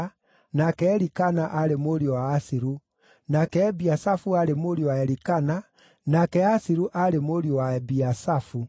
nake Elikana aarĩ mũriũ wa Asiru, nake Ebiasafu aarĩ mũriũ wa Elikana, nake Asiru aarĩ mũriũ wa Ebiasafu,